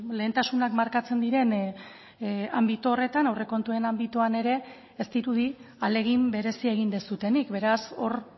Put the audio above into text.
lehentasunak markatzen diren anbito horretan aurrekontuen anbitoan ere ez dirudi ahalegin berezia egin duzuenik beraz hor